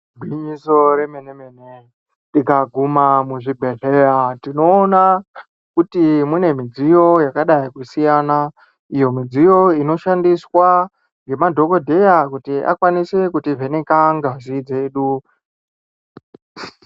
Gwinyiso remene mene tikaguma muzvibhedhlera tinoona Kuti mune midziyo yakadai Kusiyana iyo midziyo inoshandiswa nemadhokodheya kuti akwanise kutivheneka ngazi yedu.